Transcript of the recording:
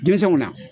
Denmisɛnw na